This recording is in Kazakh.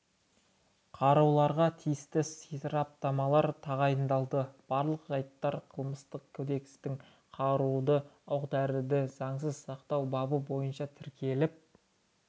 қаруларға тиісті сараптамалар тағайындалды барлық жайттар қылмыстық кодекстің қаруды оқ-дәрілерді заңсыз сақтау бабы бойынша тіркеліп